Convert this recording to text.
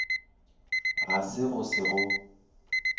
ga se go se go